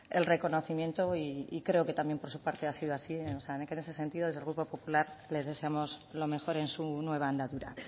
el reconocimiento y creo que también por su parte ha sido así o sea que en ese sentido desde el grupo popular le deseamos lo mejor en su nueva andadura